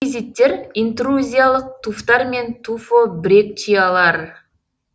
туффизиттер интрузиялық туфтар мен туфобрекчиялар